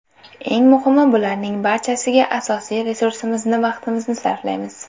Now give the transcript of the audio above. Eng muhimi bularning barchasiga asosiy resursimizni vaqtimizni sarflaymiz.